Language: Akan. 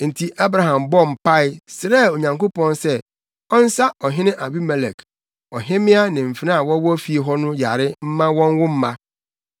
Enti Abraham bɔɔ mpae, srɛɛ Onyankopɔn sɛ ɔnsa ɔhene Abimelek, ɔhemmea ne mfenaa a wɔwɔ fie hɔ no yare mma wɔnwo mma.